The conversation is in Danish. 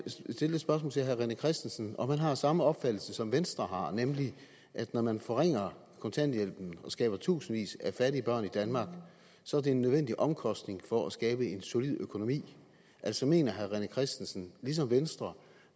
stille det spørgsmål til herre rené christensen om han har samme opfattelse som venstre har nemlig at når man forringer kontanthjælpen og skaber tusindvis af fattige børn i danmark så er det en nødvendig omkostning for at skabe en solid økonomi altså mener herre rené christensen ligesom venstre